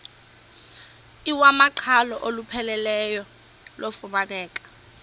iwamaqhalo olupheleleyo lufumaneka